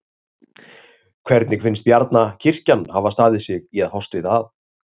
Hvernig finnst Bjarna kirkjan hafa staðið sig í að fást við það?